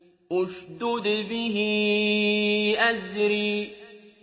اشْدُدْ بِهِ أَزْرِي